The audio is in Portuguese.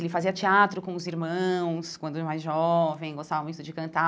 Ele fazia teatro com os irmãos quando era mais jovem, gostava muito de cantar,